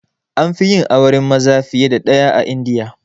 Anfi yin auren maza fiye da ɗaya a India